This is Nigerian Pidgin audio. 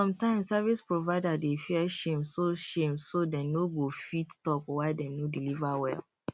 sometimes service provider dey fear shame so shame so dem no go fit talk why dem no deliver well